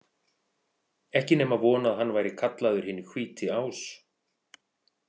Ekki nema von að hann væri kallaður hinn hvíti ás.